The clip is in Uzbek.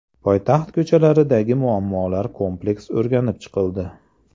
Poytaxt ko‘chalaridagi muammolar kompleks o‘rganib chiqildi.